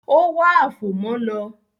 Ó wá “àfòmọ́” lọ.